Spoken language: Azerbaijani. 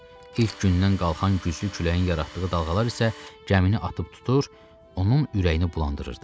İlk gündən qalxan güclü küləyin yaratdığı dalğalar isə gəmini atıb tutur, onun ürəyini bulandırırdı.